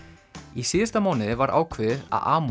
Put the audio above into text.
í síðasta mánuði var ákveðið að